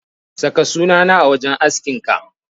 Saka sunana a wajen askinka.